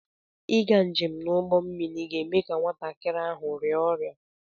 Ịga njem n'ụgbọ mmiri ga-eme ka nwatakịrị ahụ rịa ọrịa